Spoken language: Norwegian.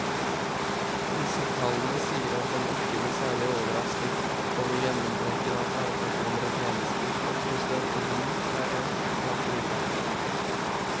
Disse tallene tilsier at en ikke blir særlig overrasket over gjennomtrekken av fagpersoner i tjenesten og frustrasjonen derav blant brukerne.